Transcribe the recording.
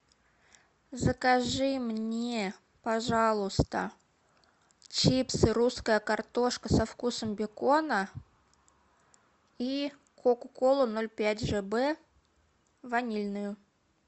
закажи мне пожалуйста чипсы русская картошка со вкусом бекона и кока колу ноль пять жб ванильную